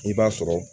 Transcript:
I b'a sɔrɔ